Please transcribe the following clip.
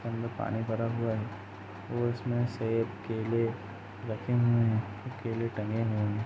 जिसके अंदर पानी भरा हुआ है और इसमें से केले रखे हुए हैं केले टंगे हुए है।